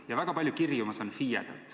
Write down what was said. Ja väga palju kirju ma saan FIE-delt.